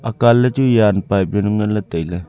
akan ley chu jan pipe yawnu nganley tailey.